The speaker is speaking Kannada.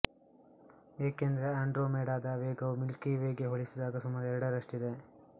ಏಕೆಂದರೆ ಆಂಡ್ರೋಮೇಡಾದ ವೇಗವು ಮಿಲ್ಕಿ ವೇಗೆ ಹೋಲಿಸಿದಾಗ ಸುಮಾರು ಎರಡರಷ್ಟಿದೆ